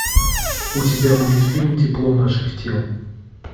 у тебя будет фильм тепло наших тел